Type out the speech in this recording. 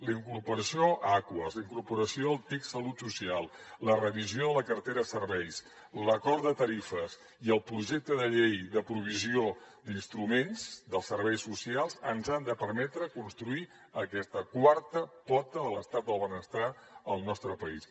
la incorporació a aquas la incorporació al tic salut social la revisió de la cartera de serveis l’acord de tarifes i el projecte de llei de provisió d’instruments dels serveis socials ens han de permetre construir aquesta quarta pota de l’estat del benestar al nostre país